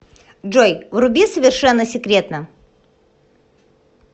джой вруби совершенно секретно